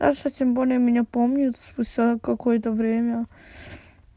асса тем более меня помнит спустя какое-то время